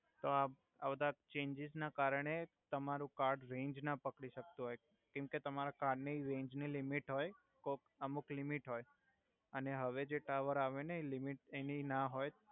તો આ આ બાધા ચેેંજિસ ના કરણે તમારુ કાર્ડ રેેંજ ના પકડી સક્તુ હોય કેમ કે તમારા કાર્ડ ની રેેંજ નિ લિમિટ હોય તો અમુક લિમિટ હોય અને હવે જે ટાવર આવે ને એ લિમિટ એની ના હોય